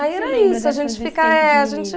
Aí era isso, a gente eh, a gente